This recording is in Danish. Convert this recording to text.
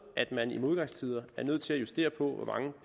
at man i modgangstider er nødt til at justere på hvor mange